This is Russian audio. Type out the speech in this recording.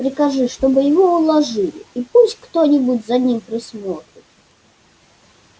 прикажи чтобы его уложили и пусть кто-нибудь за ним присмотрит